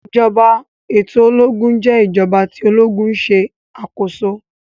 ìjọba eto ológun jé ìjọba tí ológun ṣe akoso